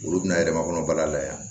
Olu bɛna yɛrɛmakɔnɔ bala la yan